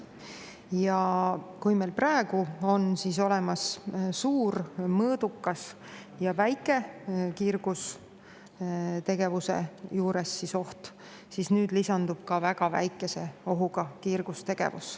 Ja kui meil praegu on suur, mõõdukas ja väike kiirgustegevuse oht, siis nüüd lisandub ka väga väikese ohuga kiirgustegevus.